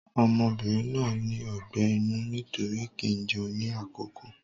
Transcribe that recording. Ọmọbìnrin náà ní ọgbẹ́ inú nítorí kì í jẹun ní àkókò.